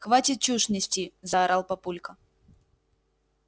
хватит чушь нести заорал папулька